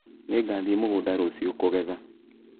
Nĩngathiĩ mũgũnda rũciũ kũgetha